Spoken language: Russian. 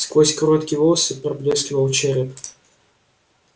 сквозь короткие волосы поблескивал череп